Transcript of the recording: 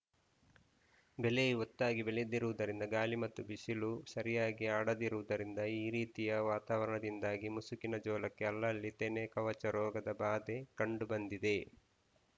ಬೆಳೆಯು ಒತ್ತಾಗಿ ಬೆಳೆದಿರುವುದರಿಂದ ಗಾಳಿ ಮತ್ತು ಬಿಸಿಲು ಸರಿಯಾಗಿ ಆಡದಿರುವುದರಿಂದ ಈ ರೀತಿಯ ವಾತಾವರಣದಿಂದಾಗಿ ಮುಸುಕಿನ ಜೋಳಕ್ಕೆ ಅಲ್ಲಲ್ಲಿ ತೆನೆ ಕವಚ ರೋಗದ ಬಾಧೆ ಕಂಡು ಬಂದಿದೆ